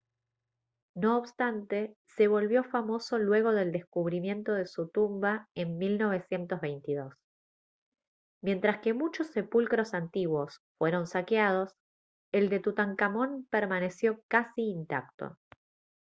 no obstante se volvió famoso luego del descubrimiento de su tumba en 1922 mientras que muchos sepulcros antiguos fueron saqueados el de tutankamón permaneció casi intacto